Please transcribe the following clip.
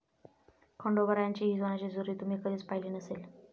खंडोबारायांची ही सोन्याची जेजुरी तुम्ही कधीच पाहिली नसेल!